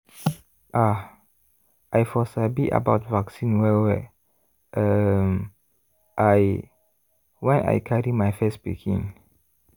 ah! i for sabi about vaccine welwell um l when i carry my first pikin.